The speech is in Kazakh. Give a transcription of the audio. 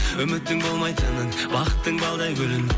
үміттің болмайтынын бақыттың балдай гүлін